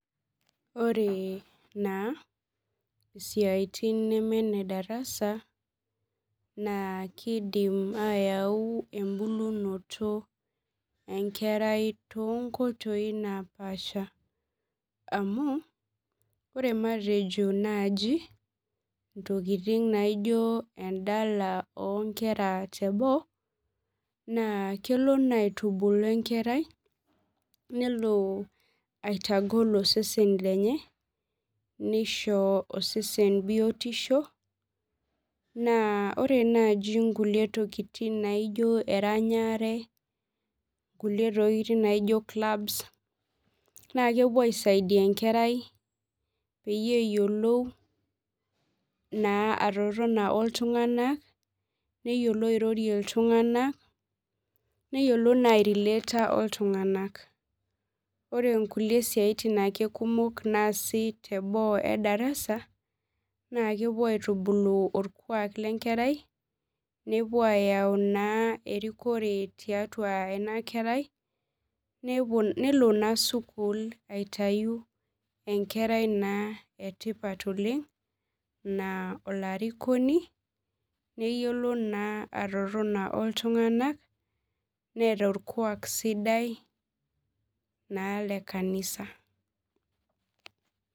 Ore naa siatin neme nedarasa naa kaidim ayautu embulunoto enkerai tombaa naapasha, amu ore matejo naaji ntokiting naijo endala onkera teboo naa kelo naa aitubulu enkerai nelo aitagol osesen lenye ,nishomo osesen biotisho naa ore naaji nkulie tokiting naijo eranyare ,kulie tokiting naijo clabs naa kelo aisaidia enkerai peyie eyiolou atotoni naa oltunganak ,nilotu airorie iltunganak ,neyiolou naa airelaata oltunganak .ore nkulie siaitin ake kumok naasi teboo edarasa naa kepuo aitubulu orkwak lenkerai ,napuo ayau naa erikore taiatua ena kerai nelo naa sukul aitayu enkerai etipat oleng, naa olarikoni, neyiolo naa atotoni oltunganak neeta orkuak sidai naa lekanisa.